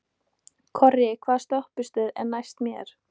Korri, hvaða stoppistöð er næst mér?